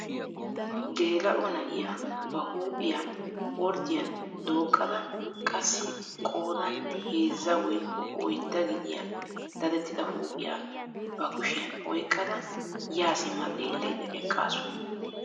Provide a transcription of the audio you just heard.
Geela'o na'iyaa ba huuphphiyaa orddiyaan dooqqada qassi qoodan heezzaa woykko oyddaa gidiyaa dadettida huuphphiyaa ba kushshiyaan oyqqada yaa simma xeellayda eqqaasu.